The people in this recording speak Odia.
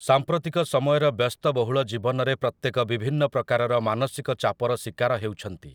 ସାମ୍ପ୍ରତିକ ସମୟର ବ୍ୟସ୍ତବହୁଳ ଜୀବନରେ ପ୍ରତ୍ୟେକ ବିଭିନ୍ନ ପ୍ରକାରର ମାନସିକ ଚାପର ଶୀକାର ହେଉଛନ୍ତି ।